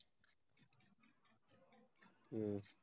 உம்